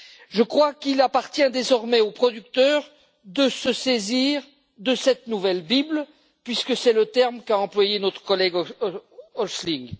Je crois qu'il appartient désormais aux producteurs de se saisir de cette nouvelle Bible, puisque c'est le terme qu'a employé notre collègue Häusling.